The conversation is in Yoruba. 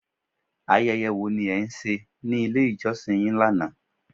Ayẹyẹ wo ni e ń se ni ilé ìjọsìn yín lánàá